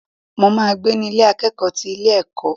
Mo ma gbé ní Ilé akẹ́kọ̀ọ́ ti ilé ẹ̀kọ́.